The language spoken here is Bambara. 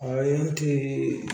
A ye n ti